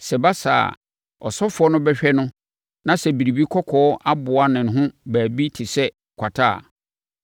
Sɛ ɛba saa a, ɔsɔfoɔ no bɛhwɛ no na sɛ biribi kɔkɔɔ aboa ne ho baabi te sɛ kwata a,